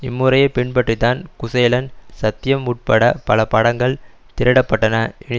இம்முறையை பின்பற்றிதான் குசேலன் சத்யம் உட்பட பல படங்கள் திரையிடப்பட்டன இனி